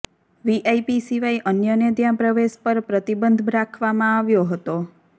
VIP સિવાય અન્યને ત્યાં પ્રવેશ પર પ્રતિબંધ રાખવામાં આવ્યો હતો